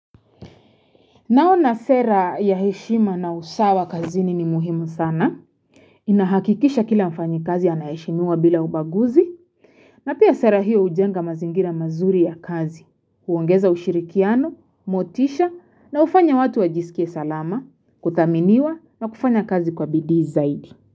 Naona sera ya heshima na usawa kazini ni muhimu sana. Inahakikisha kila mfanyi kazi anaheshimiwa bila ubaguzi. Na pia sera hiyo hujenga mazingira mazuri ya kazi. Huongeza ushirikiano, motisha na hufanya watu wajisikie salama. Kuthaminiwa na kufanya kazi kwa bidii zaidi.